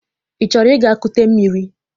Ị chọrọ ịga kute mmiri?